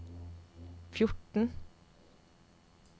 fjorten